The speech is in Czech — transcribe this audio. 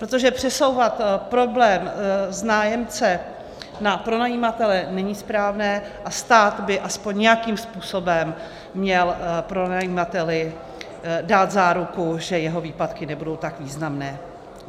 Protože přesouvat problém z nájemce na pronajímatele není správné a stát by aspoň nějakým způsobem měl pronajímateli dát záruku, že jeho výpadky nebudou tak významné.